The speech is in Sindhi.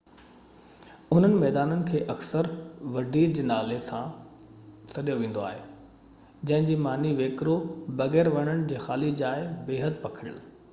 انهن ميدانن کي اڪثر وڊي جي نالي سان سڏيو ويندو آهي جنهن جي معنيٰ ويڪرو، بغير وڻن جي خالي جاءِ، بيحد پکڙيل